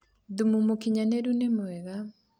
thumu mũũkĩnyanĩru nĩ mwega